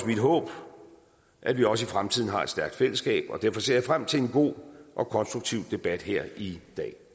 mit håb at vi også i fremtiden har et stærkt fællesskab og derfor ser jeg frem til en god og konstruktiv debat her i dag